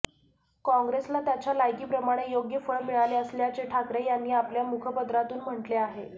काँग्रेसला त्याच्या लायकीप्रमाणे योग्य फळ मिळाले असल्याचे ठाकरे यांनी आपल्या मुखपत्रातून म्हटले आहे